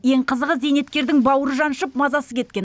ең қызығы зейнеткердің бауыры жаншып мазасы кеткен